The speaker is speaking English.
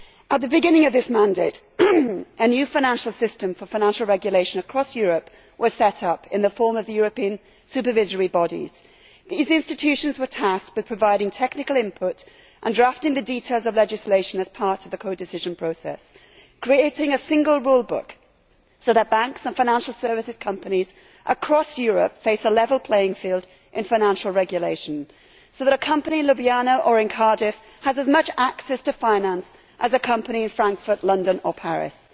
At the beginning of this mandate, a new financial system for financial regulation across Europe was set up, in the form of the European supervisory bodies. These institutions were tasked with providing technical input and drafting the details of legislation as part of the codecision process, creating a single rule book, so that banks and financial service companies across Europe face a level playing field in financial regulation and a company in Ljubljana or in Cardiff has as much access to finance as a company in Frankfurt, London or Paris.